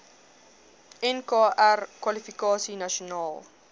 nkr kwalifikasie nasionaal